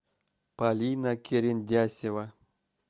полина керендясева